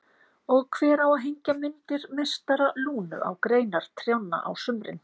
Og hver á að hengja myndir meistara Lúnu á greinar trjánna á sumrin?